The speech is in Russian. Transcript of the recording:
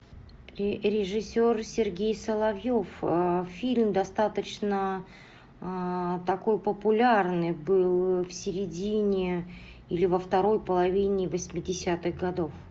режиссер сергей соловьев фильм достаточно такой популярный был в середине или во второй половине восьмидесятых годов